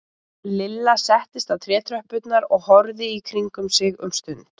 Lilla settist á trétröppurnar og horfði í kringum sig um stund.